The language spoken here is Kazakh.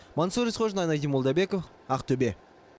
мансұр есқожин айнадин молдабеков ақтөбе